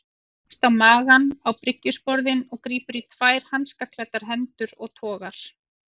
Hann leggst á magann á bryggjusporðinn og grípur í tvær hanskaklæddar hendur og togar.